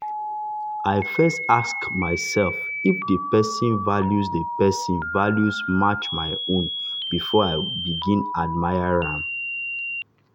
i first ask myself if the person values the person values match my own before i begin admire am.